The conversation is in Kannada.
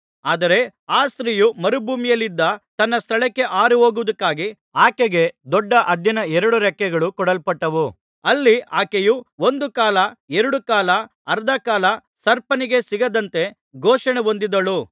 ಆದರೆ ಆ ಸ್ತ್ರೀಯು ಮರುಭೂಮಿಯಲ್ಲಿದ್ದ ತನ್ನ ಸ್ಥಳಕ್ಕೆ ಹಾರಿಹೋಗುವುದಕ್ಕಾಗಿ ಆಕೆಗೆ ದೊಡ್ಡ ಹದ್ದಿನ ಎರಡು ರೆಕ್ಕೆಗಳು ಕೊಡಲ್ಪಟ್ಟವು ಅಲ್ಲಿ ಆಕೆಯು ಒಂದು ಕಾಲ ಎರಡು ಕಾಲ ಅರ್ಧ ಕಾಲ ಸರ್ಪನಿಗೆ ಸಿಗದಂತೆ ಪೋಷಣೆ ಹೊಂದಿದಳು